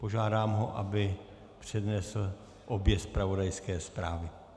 Požádám ho, aby přednesl obě zpravodajské zprávy.